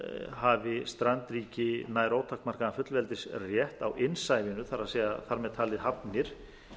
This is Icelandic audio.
hafi strandríki nær ótakmarkaðan fullveldisrétt á innsvæðinu þar með talið hafnir